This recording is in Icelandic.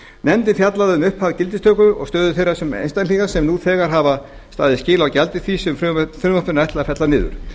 nefndin fjallaði um upphaf gildistökunnar og stöðu þeirra einstaklinga sem nú þegar hafa staðið skil á gjaldi því sem frumvarpinu er ætlað að fella niður